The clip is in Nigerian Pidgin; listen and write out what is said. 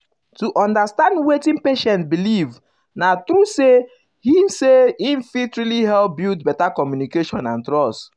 to understand wetin patient believe na true say he say he fit really help build better communication and trust.